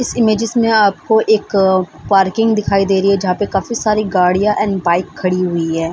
इस इमेज्स में आपको एक पार्किंग दिखाई दे रही है जहाँ पे काफी सारी गाड़ियाँ एंड बाइक खड़ी हुई है।